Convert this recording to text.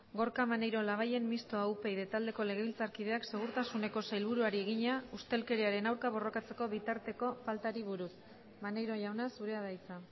gorka maneiro labayen mistoa upyd taldeko legebiltzarkideak segurtasuneko sailburuari egina ustelkeriaren aurka borrokatzeko bitarteko faltari buruz maneiro jauna zurea da hitza